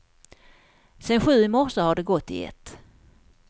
Sen sju i morse har det gått i ett.